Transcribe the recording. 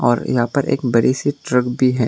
और यहां पर एक बड़ी सी ट्रक भी है।